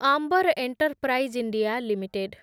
ଆମ୍ବର enterprise India limited